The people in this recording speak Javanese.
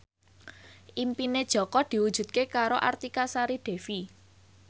impine Jaka diwujudke karo Artika Sari Devi